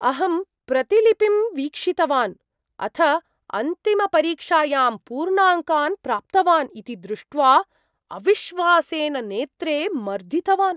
अहं प्रतिलिपिं वीक्षितवान्, अथ अन्तिमपरीक्षायां पूर्णाङ्कान् प्राप्तवान् इति दृष्ट्वा अविश्वासेन नेत्रे मर्दितवान्।